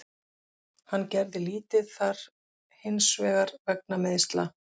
Hann gerði lítið þar hinsvegar vegna meiðsla.